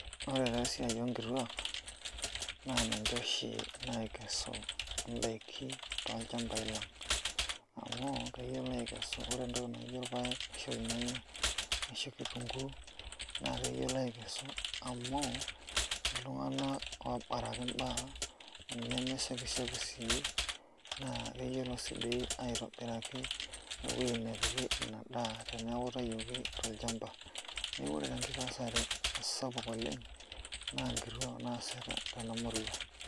Ore ena siai oonkituak naa ninje oshi nakesu indaiki tolchambai lang', amu keyiolo atekesu ore entoki naijo olpayeki ashu ilnyanya ashu kitunguu naa atekesu amu iltunganak oobaraki imbaa, neme shapshap sii naa keyiolo sii duo aitobiraki ewoyi nepiki inadaa eneeku itayioki tol'chamba. Ore enkesare sapuk oleng' naa inkituak naasita temurua.